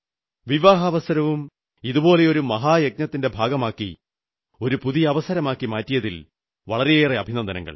വിവാഹാവസരവും ഇതുപോലൊരു മഹായജ്ഞത്തിന്റെ ഭാഗമാക്കി ഒരുപുതിയ അവസരമാക്കി മാറ്റിയതിൽ വളരെയേറെ അഭിനന്ദനങ്ങൾ